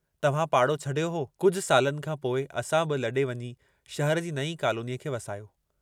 तव्हां पाड़ो छॾियो हो, कुझ खां पोइ असां बि लॾे वञी शहर जी नईं कॉलोनीअ खे वसायो।